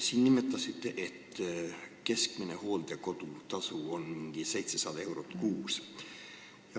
Te nimetasite, et keskmine hooldekodutasu on umbes 700 eurot kuus.